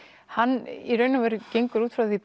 hann í raun og veru gengur út frá því